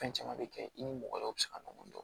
Fɛn caman bɛ kɛ i ni mɔgɔ wɛrɛw bɛ se ka ɲɔgɔn dɔn